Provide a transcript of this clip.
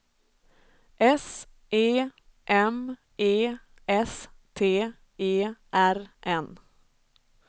S E M E S T E R N